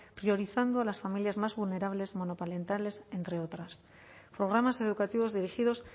priorizando las familias más vulnerables monoparentales entre otras programas educativos dirigidos